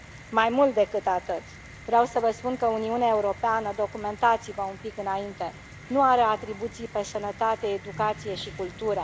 Mai mult decât atât, vreau să vă spun că Uniunea Europeană, documentați vă un pic înainte, nu are atribuții pe sănătate, educație și cultură.